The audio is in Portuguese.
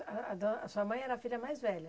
A a do a sua mãe era a filha mais velha?